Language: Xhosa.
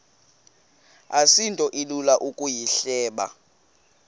asinto ilula ukuyihleba